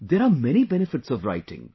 There are many benefits of writing